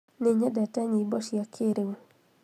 nĩnyendete nyĩmbo cia kĩrĩu